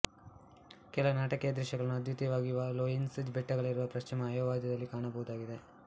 ಕೆಲವು ನಾಟಕೀಯ ದೃಶ್ಯಗಳನ್ನು ಅದ್ವೀತಿಯವಾಗಿರುವ ಲೋಯೆಸ್ಸ್ ಬೆಟ್ಟಗಳಿರುವ ಪಶ್ಚಿಮ ಅಯೋವಾದಲ್ಲಿ ಕಾಣಬಹುದಾಗಿದೆ